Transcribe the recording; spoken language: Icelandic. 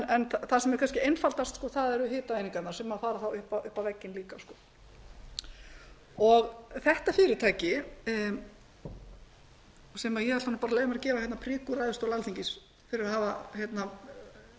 en það sem er kannski einfaldast eru hitaeiningarnar sem fara upp á vegginn líka þetta fyrirtæki sem ég er að leyfa mér að gefa prik úr ræðustól alþingis fyrir að